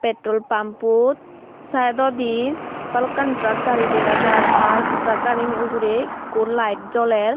petrol pampo saudodi balukkani trak gari dega jar ar trak gari gani ugurey ikkho lite joler.